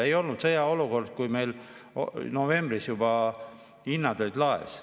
Sõjaolukorda ei olnud, kui meil novembris juba hinnad olid laes.